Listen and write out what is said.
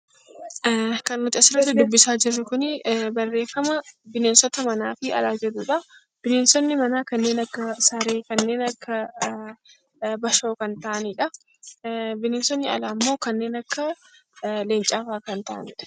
Kan nuti asirratti dubbisaa jirru kun barreeffama bineensota manaa fi Alaa jedhuudha. Bineensotni manaa kanneen akka saree, kanneen akka bashoo Kan ta'aanidha. Bineensonni alaa immoo kanneen akka leencaa fa'a Kan ta'aaniidha.